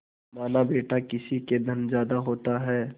मानाबेटा किसी के धन ज्यादा होता है